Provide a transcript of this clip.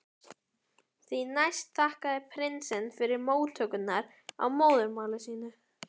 Því næst þakkaði prinsinn fyrir móttökurnar á móðurmáli sínu.